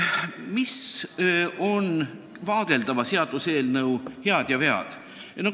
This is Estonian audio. Mis on vaadeldava seaduseelnõu head ja vead?